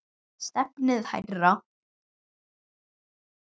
Stefnið hærra.